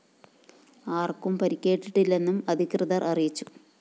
ആര്‍ക്കും പരിക്കേറ്റിട്ടില്ലെന്നും അധികൃതര്‍ അറിയിച്ചു